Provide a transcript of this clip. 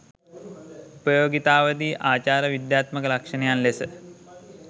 උපයෝගීතාවාදී ආචාර විද්‍යාත්මක ලක්‍ෂණයන් ලෙස